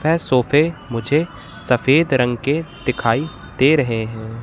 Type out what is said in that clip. है सोफे मुझे सफेद रंग के दिखाई दे रहे है।